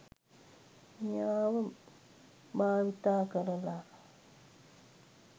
මෙයාව භාවිතා කරලා